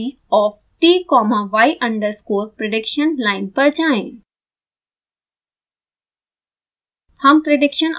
plot2d of t comma y underscore prediction line पर जाएँ